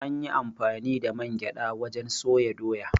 An yi amfani da man gyaɗa wajen soya Doya.